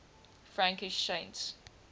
frankish saints